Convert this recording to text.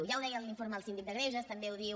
ja ho deia l’informe del síndic de greuges també ho diu